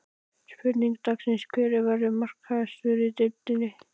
Spurning dagsins er: Hver verður markahæstur í deildinni?